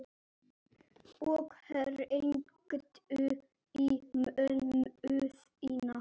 Og hringdu í mömmu þína.